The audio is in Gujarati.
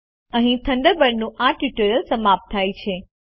અહીં થન્ડરબર્ડ પરનું આ ટ્યુટોરીયલ સમાપ્ત થાય છે